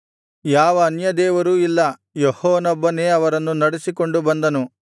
ಯಾವ ಅನ್ಯದೇವರೂ ಇಲ್ಲ ಯೆಹೋವನೊಬ್ಬನೇ ಅವರನ್ನು ನಡಿಸಿಕೊಂಡು ಬಂದನು